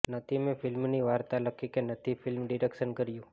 નથી મેં ફિલ્મની વાર્તા લખી કે નથી ફિલ્મ ડિરેક્શન કર્યુ